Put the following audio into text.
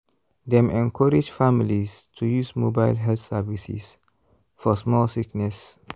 dem encourage families to use mobile health services for small sickness.